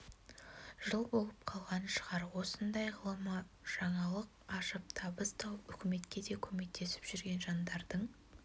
жыл болып қалған шығар осындай ғылымы жаңалық ашып табыс тауып үкіметке де көмектесіп жүрген жандардың